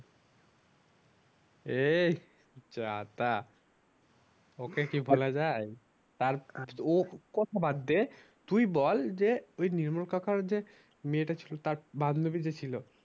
এই যা তা ওকে কি ভোলা যায় তা ওর কথা বাদদে তুই বল যে তুই নির্মল কাকার যে মেয়েটা ছিল তার বান্ধবী যে ছিল